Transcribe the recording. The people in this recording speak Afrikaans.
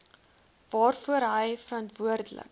waarvoor hy verantwoordelik